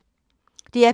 DR P2